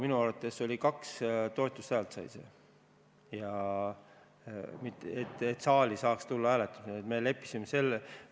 Minu arust sai see muudatusettepanek kaks toetushäält ja sellest piisas, et saaks selle saali hääletusele tuua.